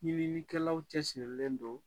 Ɲininikɛlaw cɛsirilen don